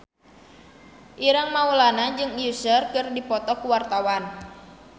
Ireng Maulana jeung Usher keur dipoto ku wartawan